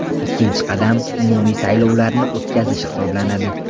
Ikkinchi qadam umumiy saylovlarni o‘tkazish hisoblanadi.